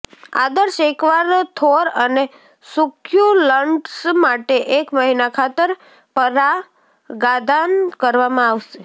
આદર્શ એકવાર થોર અને સુક્યુલન્ટ્સ માટે એક મહિના ખાતર પરાગાધાન કરવામાં આવશે